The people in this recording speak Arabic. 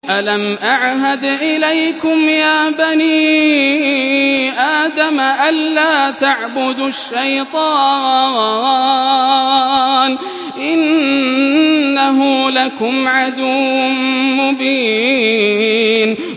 ۞ أَلَمْ أَعْهَدْ إِلَيْكُمْ يَا بَنِي آدَمَ أَن لَّا تَعْبُدُوا الشَّيْطَانَ ۖ إِنَّهُ لَكُمْ عَدُوٌّ مُّبِينٌ